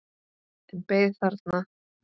En beið þarna.